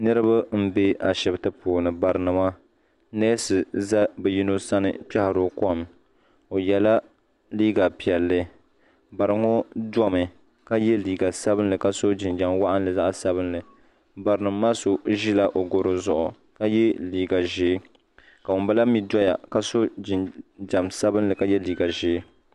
Niriba m be ashipti puuni barinima neesi za bɛ yino sani n kpehiri o kom o yela liiga piɛlli bariŋɔ domi ka ye liiga sabinli ka so jinjiɛm waɣinli zaɣa sabinli barinima maa so ʒila o goro zuɣu ka ye liiga ʒee ka ŋun bala mee doya ka so jinjiɛm sabinli ka ye liiga ʒee .